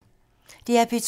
DR P2